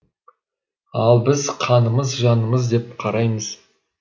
ал біз қанымыз жанымыз деп қараймыз